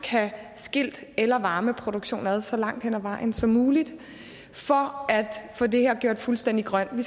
have skilt el og varmeproduktion ad så langt hen ad vejen som muligt for at få det her gjort fuldstændig grønt vi